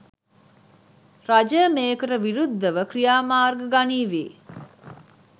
රජය මේකට විරුද්ධව ක්‍රියාමාර්ග ගනීවි.